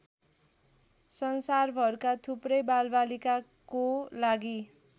संसारभरका थुप्रै बालबालिकाको लागि